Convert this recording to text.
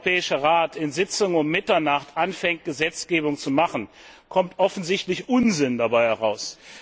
Wenn der Europäische Rat in Sitzungen um Mitternacht anfängt, Gesetzgebung zu machen, kommt offensichtlich Unsinn dabei heraus.